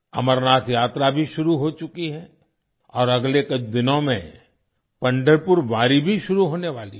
अमरनाथ यात्रा भी शुरू हो चुकी है और अगले कुछ दिनों में पंढरपुर वारी भी शुरू होने वाली है